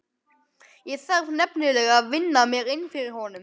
Ég þarf nefnilega að vinna mér inn fyrir honum.